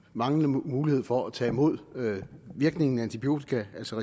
manglende mulighed for at tage imod virkningen af antibiotika altså